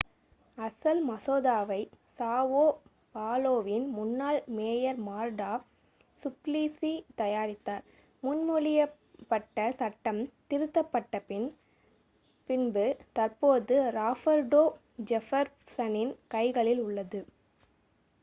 அசல் மசோதாவை சாவோ பாலோவின் முன்னாள் மேயர் மார்டா சுப்ளிசி தயாரித்தார் முன்மொழியப்பட்ட சட்டம் திருத்தப்பட்ட பின்பு தற்போது ராபர்டோ ஜெஃபர்சனின் கைகளில் உள்ளது